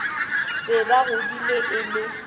be ba godile e le